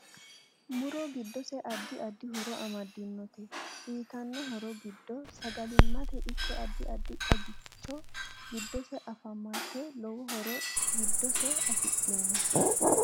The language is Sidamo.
Muro giddose addi addi horo amadinote uyiitanno horo giddo sagalimate ikko addi addi xagaicho giddose afamate lowo horo giddose afidhinno